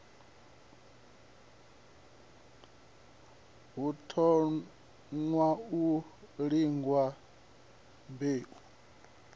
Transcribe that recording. hu thoṅwa u lingwa mbeu